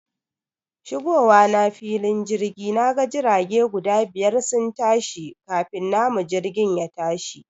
Shigowa na filin jirga, naga jirage guda biyar sun tashi kafin namu jirgin yatashi